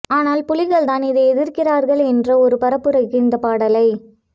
ஆனால் புலிகள் தான் இதை எதிர்க்கிறார்கள் என்ற ஒரு பரப்புரைக்கு இந்த பாடலை